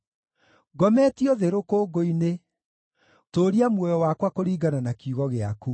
Ngometio thĩ rũkũngũ-inĩ; tũũria muoyo wakwa kũringana na kiugo gĩaku.